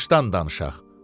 Başdan danışaq.